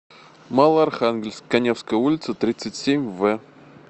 малоархангельск каневская улица тридцать семь в